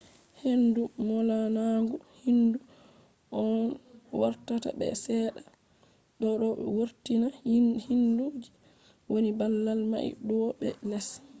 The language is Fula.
heyndu molanagu hindu on vortata be sedda bo do vortina hindu je wani babal mai douwo be les